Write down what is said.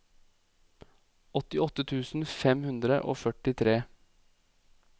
åttiåtte tusen fem hundre og førtitre